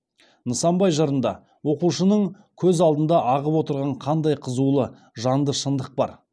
нысанбай жырында оқушының көз алдында ағып отырған қандай қызулы жанды шындық бар